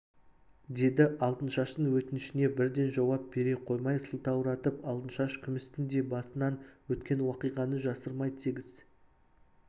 деді алтыншаштың өтінішіне бірден жауап бере қоймай сылтауратып алтыншаш күмістің де басынан өткен уақиғаны жасырмай тегіс